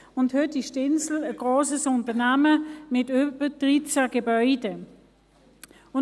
Heute ist die Insel ein grosses Unternehmen mit über 13 Gebäuden.